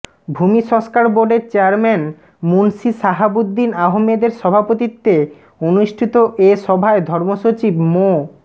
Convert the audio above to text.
ভূমি সংস্কার বোর্ডের চেয়ারম্যান মুনশী শাহাবুদ্দীন আহমেদের সভাপতিত্বে অনুষ্ঠিত এ সভায় ধর্ম সচিব মো